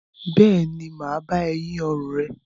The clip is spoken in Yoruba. Bẹ́ẹ̀ ni, m á bá ẹ yín ọrùn rẹ.